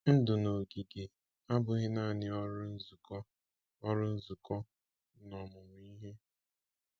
Ndụ n’ogige abụghị naanị ọrụ, nzukọ, ọrụ, nzukọ, na ọmụmụ ihe.